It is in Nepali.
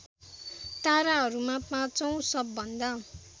ताराहरूमा पाँचौँ सबभन्दा